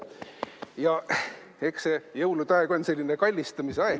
Eks see jõuluaeg on selline kallistamise aeg.